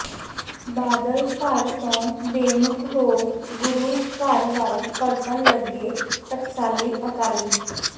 ਬਾਦਲ ਘਰ ਤੋਂ ਬੇਮੁਖ ਹੋ ਗੁਰੂ ਘਰ ਵੱਲ ਪਰਤਣ ਲੱਗੇ ਟਕਸਾਲੀ ਅਕਾਲੀ